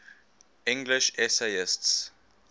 english essayists